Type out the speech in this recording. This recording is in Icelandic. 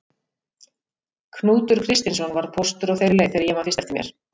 Knútur Kristinsson var póstur á þeirri leið þegar ég man fyrst eftir mér.